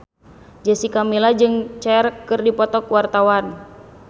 Jessica Milla jeung Cher keur dipoto ku wartawan